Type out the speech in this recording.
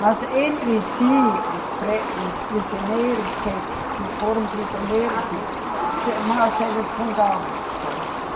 Mas entre si, os pre, os prisioneiros que, que foram prisioneiros, mas eles contavam, sabe?